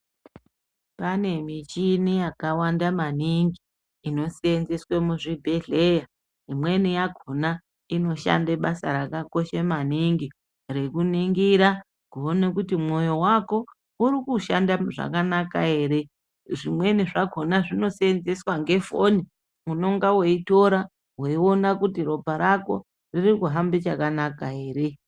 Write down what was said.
Pane michini yakawanda maningi inoseenzeswe muzvibhedhleya, imweni inoshande basa rakanaka maningi rekuningira kuti mwoyo wako urikushande zvakanaka ere, zvimweni zvakona zvinoseenzeswa ngefoni weitora weiona kuti ropa rako ririkuhambe chakanaka ere.